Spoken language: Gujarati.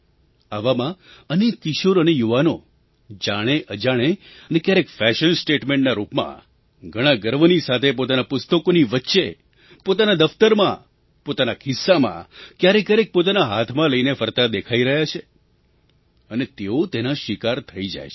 આવામાં અનેક કિશોર અને યુવાનો જાણેઅજાણે અને ક્યારેક ફૅશન સ્ટેટમેન્ટના રૂપમાં ઘણા ગર્વની સાથે પોતાનાં પુસ્તકોની વચ્ચે પોતાના દફ્તરમાં પોતાના ખિસ્સામાં ક્યારેકક્યારેક પોતાના હાથમાં લઈને ફરતા દેખાઈ રહ્યા છે અને તેઓ તેના શિકાર થઈ જાય છે